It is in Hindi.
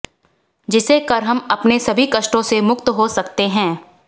जिसे कर हम अपने सभी कष्टों से मुक्त हो सकते है